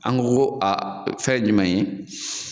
An ko a fɛn ye jumɛn ye?